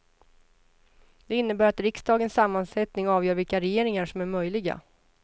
Det innebär att riksdagens sammansättning avgör vilka regeringar som är möjliga.